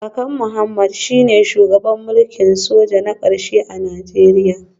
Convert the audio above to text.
Kakan Mohammed shine shugaban mulkin soja na karshe a Najeriya